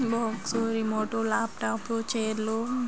box remote laptop chair --